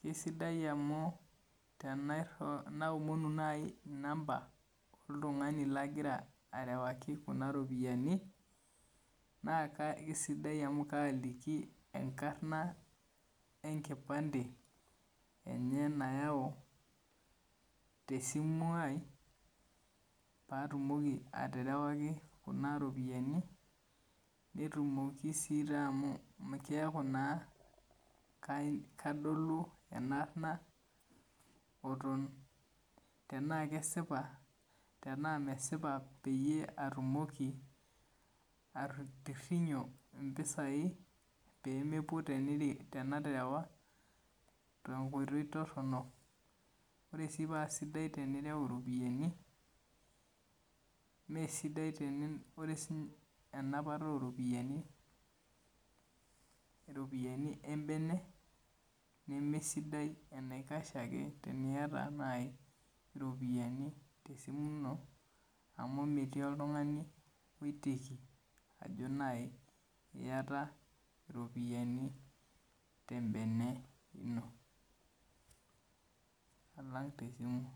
kesidai amu tenaomonu naai number oltung'ani lagira arewaki kuna ropiyiani naa kesidai amu kaaliki enkarna enkipande enye nayau tesimu ai paatumoki aterewaki iropiyiani. Netumoki sii amu keeku naa kadolu enaarna tenaa kesipa, tenaa mesipa peyie atumoki atorrinyo impisai peemepwo tenaterewa tenkoitoi torrono. Ore sii paa sidai tenireu iropiyiani mee sidai, ore enapata oo ropiyiani, iropiyiani embene nemee sidai enaikash ake eniata naai iropiyiani tesimu ino amu metii oltung'ani oiteiki ajo naa iyata iropiyiani tembene ino, alang tesimu